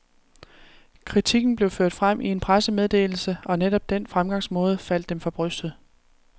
Kritikken blev ført frem i en pressemeddelse, og netop den fremgangsmåde faldt dem for brystet.